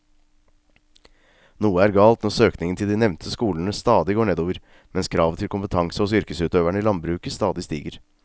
Noe er galt når søkningen til de nevnte skolene stadig går nedover mens kravet til kompetanse hos yrkesutøverne i landbruket stadig stiger.